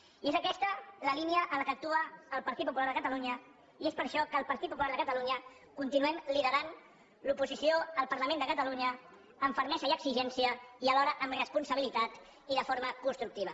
i és aquesta la línia en què actua el partit popular de catalunya i és per això que el partit popular de catalunya continuem liderant l’oposició al parlament de catalunya amb fermesa i exigència i alhora amb responsabilitat i de forma constructiva